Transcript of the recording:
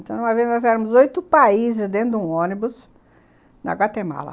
Então, uma vez, nós éramos oito países dentro de um ônibus na Guatemala.